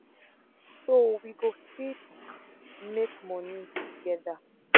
so we go fit make moni togeda